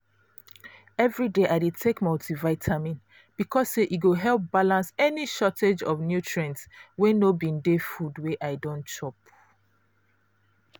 everyday i dey take multivitamin because say e go help balance any shortage of nutrients wey no bin dey food wey i don chop.